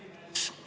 Härra esimees!